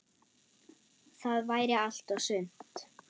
Það væri allt og sumt.